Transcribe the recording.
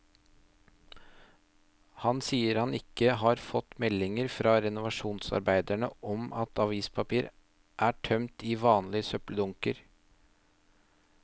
Han sier han ikke har fått meldinger fra renovasjonsarbeiderne om at avispapir er tømt i vanlige søppeldunker.